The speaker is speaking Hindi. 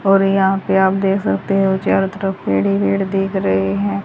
और यहां पे आप देख सकते हो चारों तरफ पेड़ ही पेड़ दिख रहे हैं।